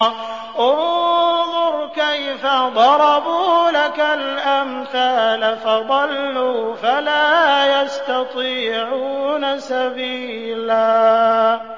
انظُرْ كَيْفَ ضَرَبُوا لَكَ الْأَمْثَالَ فَضَلُّوا فَلَا يَسْتَطِيعُونَ سَبِيلًا